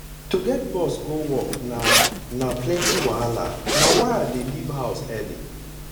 to get bus go work na na plenty wahala na why i dey leave house early